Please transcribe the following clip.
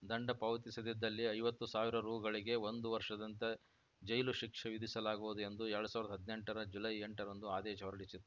ದಂಡ ಪಾವತಿಸದಿದ್ದಲ್ಲಿ ಐವತ್ತು ಸಾವಿರ ರುಗಳಿಗೆ ಒಂದು ವರ್ಷದಂತೆ ಜೈಲು ಶಿಕ್ಷೆ ವಿಧಿಸಲಾಗುವುದು ಎಂದು ಎರಡ್ ಸಾವಿರದ ಹದಿನೆಂಟರ ಜುಲೈ ಎಂಟರಂದು ಆದೇಶ ಹೊರಡಿಸಿ